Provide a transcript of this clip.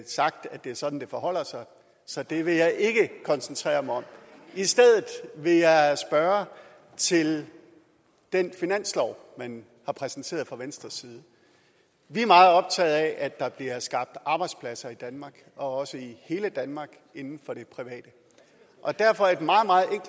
sagt at det er sådan det forholder sig så det vil jeg ikke koncentrere mig om i stedet vil jeg spørge til den finanslov man har præsenteret fra venstres side vi er meget optaget af at der bliver skabt arbejdspladser i danmark og også i hele danmark inden for det private og derfor